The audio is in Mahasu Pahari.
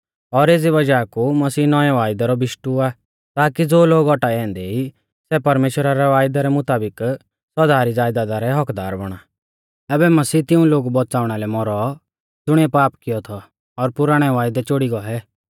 और एज़ी वज़ाह कु मसीह नौंवै वायदै रौ बिशटु आ ताकी ज़ो लोग औटाऐ औन्दै ई सै परमेश्‍वरा रै वायदै रै मुताबिक सौदा री ज़ायदादा रै हक्क्कदार बौणा आबै मसीह तिऊं लोगु बौच़ाउणा लै मौरौ ज़ुणीऐ पाप कियौ थौ और पुराणै वायदै चोड़ी गौऐ